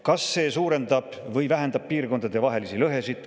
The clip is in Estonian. Kas see suurendab või vähendab piirkondadevahelisi lõhesid?